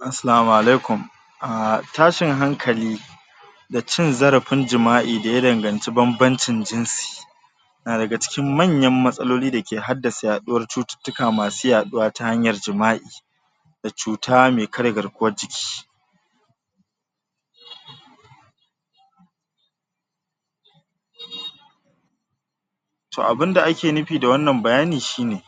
Assalamu Alaikum a tashin hankali da cin zarafin jima'i daya danganci banbancin jinsi na daga cikin manyan matsalolin dake haddasa yaɗuwan cututtuka masu yaduwa ta hanyar jima'i da cuta mai karye garkuwar jiki to abunda ake nufi da wannan bayani shine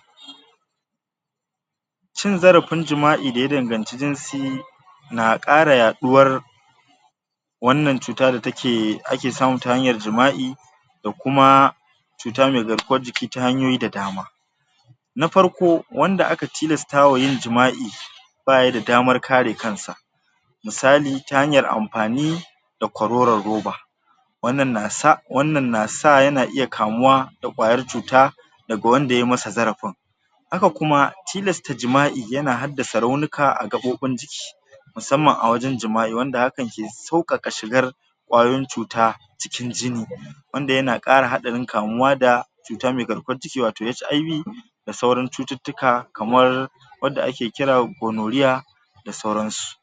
cin zarafin jima'i daya danganci jinsi na kara yaɗuwar wannan cutar datake ake samu ta hanyar jima'i da kuma cuta mai garkuwar jiki ta hanyoyi da dama na farko wanda aka tilastawa yin jima'i bayida damar kare kansa misali ta hanyar amfani da kororon roba wannan na sa wannan na sa yana iya kamuwa da kwayar cuta daga wanda yamasa zarafin haka kuma tilasta jima'i yana haddasa raunuka a gaɓobin jiki musamman awajan jima'i wanda hakan ke saukak shigar kwayoyin cuta cikin jini wanda yana kara hadarin kamuwa da cuta mai garkuwan jiki wato HIV da sauran cututtuka kamar wanda ake kira da gonorrhea da sauransu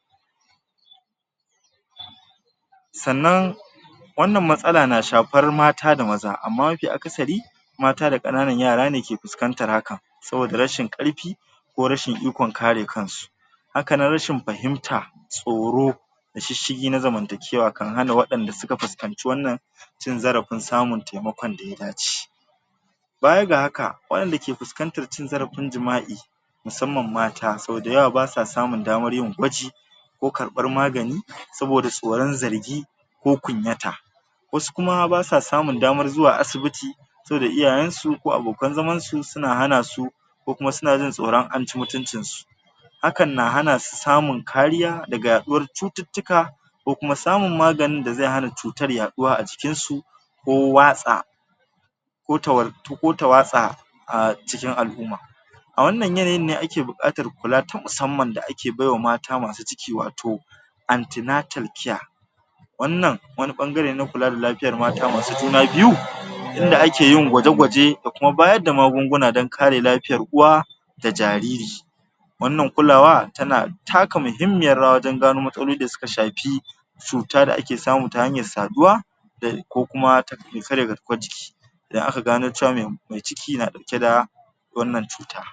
sa'anan wannan matsala na shafan mata da maza amma mafi akasari mata da kananan yarane ke fuskantan haka saboda rashin karfi ko rashin ikon kare kansu hakanan rashin fahimta, tsoro da shishigi na zamantakewa kan hana wadanda suka fahimci wannan cin zarafin samun taimakon daya dace baya ga haka wadanda ke fuskantar cin zarafin jima'i musamman mata sau dayawa basuwa samun damar yin gwaji ko karɓar magani saboda tsoron zargi ko kunyata wasu kuma basuwa samun dama zuwa asibiti saboda iyayensu ko abokan zaman su suna hanasu kokuma suna jin tsoron anci mutuncinsu hakan na hanasu samun kariya daga yaɗuwar cututtuka ko kuma samun maganin da ze hana cutar yaduwa ajikinsu ko watsa ko ta wartu ko ta watsa a cikin al'umma a wannan yanayin ne ake bukatan kula ta musamman da ake baiwa mata masu ciki wato antinatal care wannan wanu bangarene na kula da lafiyar mata masu juna biyu inda akeyin gwaje gwaje da kuma bayarda magunguna dan kare lafiyar uwa da jariri wannan kulawa tana taka muhimmiyar rawa wajan gano matsaloli dasuka shafi cuta da ake samu ta hanyar saduwa da ko kuma ta mai karye garkuwar jiki da aka gano cewa me me ciki na daukeda wannan cuta